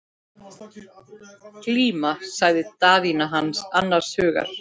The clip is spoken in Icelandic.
Glíma, sagði Daðína annars hugar.